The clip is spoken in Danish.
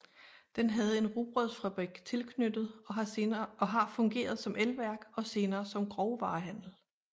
Den havde en rugbrødsfabrik tilknyttet og har fungeret som elværk og senere som grovvarehandel